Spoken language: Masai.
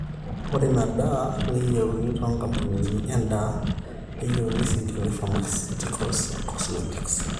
ore ina daa neyieuni toonkampunini endaa, pharmaceuticals o cosmetics